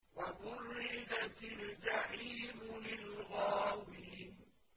وَبُرِّزَتِ الْجَحِيمُ لِلْغَاوِينَ